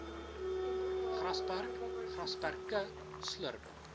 grasperk grasperke slurp